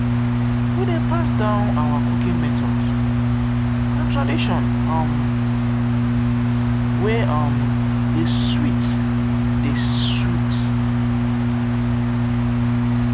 we dey pass down our cooking methods; na tradition um wey um dey sweet. dey sweet.